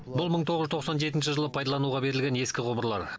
бұл мың тоғыз жүз тоқсан жетінші жылы пайдалануға берілген ескі құбырлар